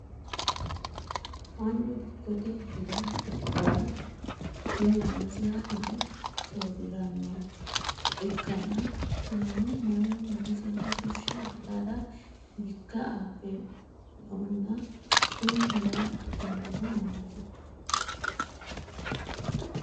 Manu dikkote Hira hidhara mine noosiha hire sooriranoha ikanna kunnino Manu minnisinni fushe hirara dikka Abe noonna kunni hirara abinoonihu maati?